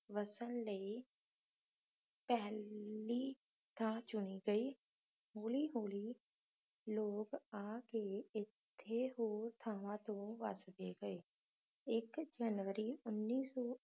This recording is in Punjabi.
ਵਸਣ ਲਈ ਪਹਿਲੀ ਥਾਂ ਚੁਣੀ ਗਈ ਹੌਲੀ-ਹੌਲੀ ਲੋਕ ਆ ਕੇ ਇੱਥੇ ਤੇ ਹੋਰ ਥਾਂਵਾਂ ਤੇ ਵਸਦੇ ਗਏ। ਇੱਕ ਜਨਵਰੀ ਉਨੀ ਸੌ